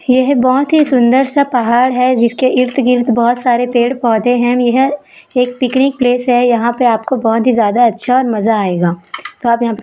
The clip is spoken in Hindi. येह बहोत ही सुंदर सा पहाड़ है जिसके इर्त गिर्त बहोत सारे पेड़-पौधे है यह एक पिकनीक प्लेस है यहाँ पे आपको बहोत ही ज्यादा अच्छा और मज़ा आएगा साथ यहाँ --